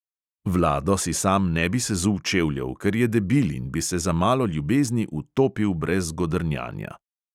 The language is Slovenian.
Vlado si sam ne bi sezul čevljev, ker je debil in bi se za malo ljubezni utopil brez godrnjanja.